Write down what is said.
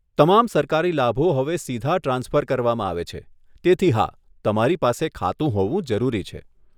તમામ સરકારી લાભો હવે સીધા ટ્રાન્સફર કરવામાં આવે છે, તેથી હા, તમારી પાસે ખાતું હોવું જરૂરી છે.